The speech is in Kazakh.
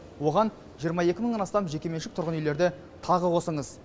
оған жиырма екі мыңнан астам жекеменшік тұрғын үйлерді тағы қосыңыз